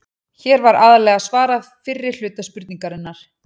Hér var aðallega svarað fyrri hluta spurningarinnar.